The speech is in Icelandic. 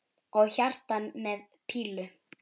Og hjarta með pílu!